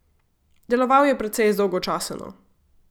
Deloval je precej zdolgočaseno.